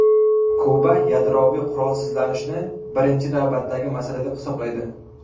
Kuba yadroviy qurolsizlanishni birinchi navbatdagi masala deb hisoblaydi.